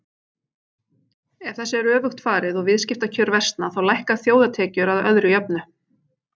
Ef þessu er öfugt farið og viðskiptakjör versna þá lækka þjóðartekjur að öðru jöfnu.